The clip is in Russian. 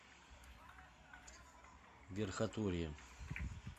верхотурье